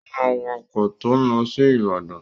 Ó máa wọ ọkọ̀ tó ń lọ sí Ìbàdàn.